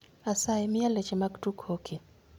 Asayi miya leche mag tuk hoki